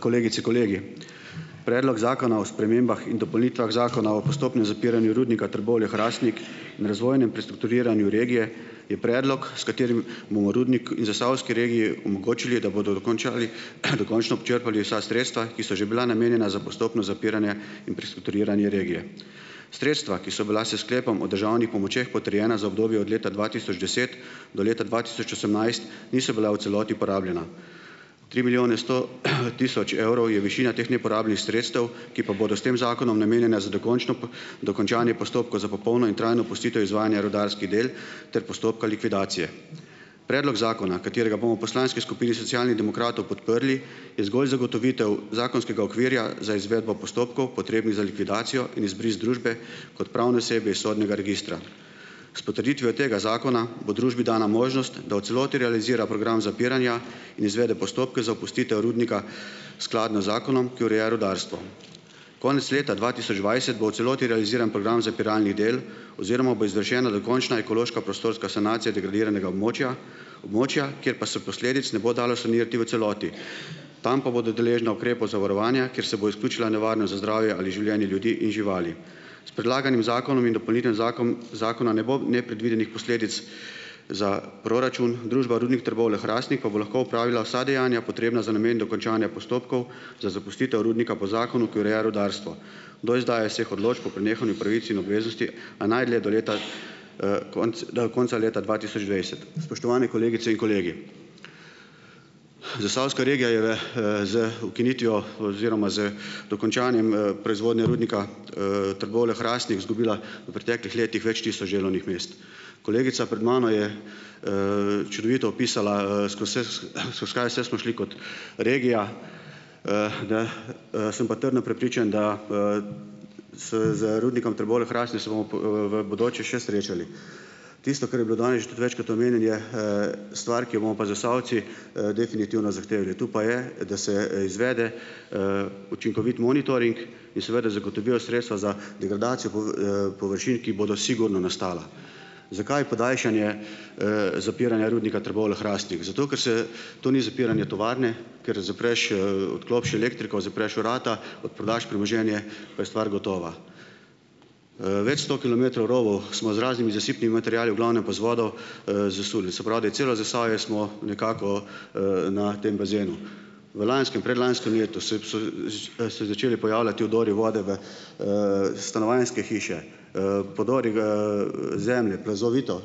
Kolegice, kolegi! Predlog zakona o spremembah in dopolnitvah zakona o postopnem zapiranju Rudnika Trbovlje-Hrastnik in razvojnem prestrukturiranju regije je predlog, s katerim bomo rudnik in zasavski regiji omogočili, da bodo dokončali, dokončno počrpali vsa sredstva, ki so že bila namenjena za postopno zapiranje in prestrukturiranje regije. Sredstva, ki so bila s sklepom o državnih pomočeh potrjena za obdobje od leta dva tisoč deset do leta dva tisoč osemnajst, niso bila v celoti porabljena. Tri milijone sto, tisoč evrov je višina teh neporabljenih sredstev, ki pa bodo s tem zakonom namenjena za dokončno dokončanje postopkov za popolno in trajno opustitev izvajanja rudarskih del ter postopka likvidacije. Predlog zakona, katerega bomo v poslanski skupini Socialnih demokratov podprli, je zgolj zagotovitev zakonskega okvirja za izvedbo postopkov potrebnih za likvidacijo in izbris družbe kot pravne osebe iz sodnega registra. S potrditvijo tega zakona bo družbi dana možnost, da v celoti realizira program zapiranja in izvede postopke za opustitev rudnika skladno z zakonom, ki ureja rudarstvo. Konec leta dva tisoč dvajset bo v celoti realiziran program zapiralnih del oziroma bo izvršena dokončna ekološka prostorska sanacija degradiranega območja. Območja. Kjer pa se posledic ne bo dalo sanirati v celoti, tam pa bodo deležne ukrepov za varovanja, kjer se bo izključila nevarnost za zdravje ali življenje ljudi in živali. S predlaganim zakonom in dopolnitvijo zakom zakona ne bo nepredvidenih posledic za proračun. Družba Rudnik Trbovlje-Hrastnik pa bo lahko opravila vsa dejanja, potrebna za namen dokončanja postopkov za zapustitev rudnika po zakonu, ki ureja rudarstvo, do izdaja vseh odločb o prenehanju pravic in obveznosti, a najdlje do leta, konec do konca leta dva tisoč dvajset. Spoštovani kolegice in kolegi! Zasavska regija je, z ukinitvijo oziroma z dokončanjem, proizvodnje Rudnika, Trbovlje-Hrastnik izgubila v preteklih letih več tisoč delovnih mest. Kolegica pred mano je, čudovito opisala, skozi se, skozi kaj vse smo šli kot regija. Sem pa trdno prepričan, da z z Rudnikom Trbovlje-Hrastnik se bomo v bodoče še srečali. Tisto, kar je bilo danes tudi že večkrat omenjen, je, stvar, ki jo bomo pa Zasavci, definitivno zahtevali, tu pa je, da se, izvede, učinkovit monitoring in seveda zagotovijo sredstva za degradacijo površin, ki bodo sigurno nastala. Zakaj podaljšanje, zapiranja Rudnika Trbovlje-Hrastnik? Zato, ker se to ni zapiranje tovarne, kjer zapreš, odklopiš elektriko, zapreš vrata, odprodaš premoženje, pa je stvar gotova. Več sto kilometrov rovov smo z raznimi zasipnimi materiali, v glavnem pa z vodo, zasuli. Se pravi, da je celo Zasavje smo nekako, na tem bazenu. V lanskem, predlanskem letu so se začeli pojavljati vdori vode v, stanovanjske hiše, podori, zemlje, plazovito.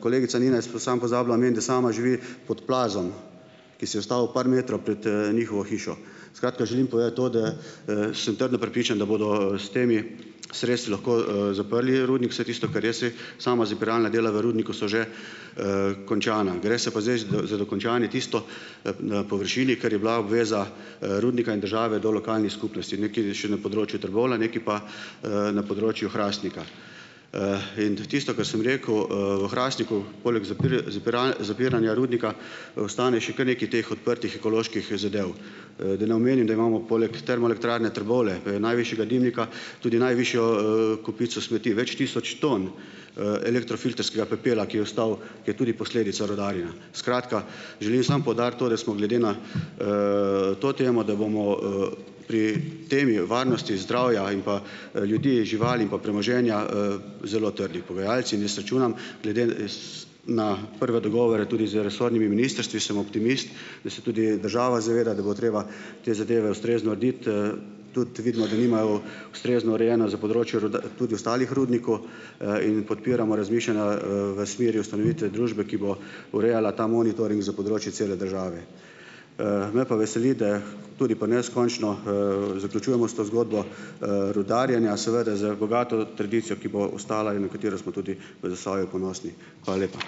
Kolegica Nina je samo pozabila omeniti, da sama živi pod plazom, ki se je ustavil par metrov pred, njihovo hišo. Skratka, želim povedati to, da, sem trdno prepričan, da bodo s temi sredstvi lahko, zaprli rudnik, vse tisto, kar jaz vem. Sama zapiralna dela v rudniki so že, končana. Gre se pa zdaj za dokončanje tisto, na površini, kar je bila obveza, rudnika in države do lokalnih skupnosti, nekaj še na področju Trbovlja, nekaj pa na področju Hrastnika. In tisto, kar sem rekel, v Hrastniku poleg zapiranja rudnika ostane še kar nekaj teh odprtih ekoloških zadev. Da ne omenim, da imamo poleg Termoelektrarne Trbovlje, ko je najvišjega dimnika, tudi najvišjo, kopico smeti. Več tisoč ton, elektrofiltrskega pepela, ki je ostal, ki je tudi posledica rudarjenja. Skratka, želim samo poudariti to, da smo glede na, to temo, da bomo, pri temi varnosti zdravja in pa, ljudi, živali in pa premoženja, zelo trdi pogajalci. In jaz računam glede na prve dogovore tudi z resornimi ministrstvi, sem optimist, da se tudi država zaveda, da bo treba te zadeva ustrezno urediti, tudi vidimo, da nimajo ustrezno urejeno za področje tudi ostalih rudnikov, in podpiramo razmišljanja, v smeri ustanovitve družbe, ki bo urejala ta monitoring za področje cele države. Me pa veseli, da tudi pri nas končno, zaključujemo s to zgodbo, rudarjenja, seveda, z bogato tradicijo, ki bo ostala in v katero smo tudi v Zasavju ponosni. Hvala lepa.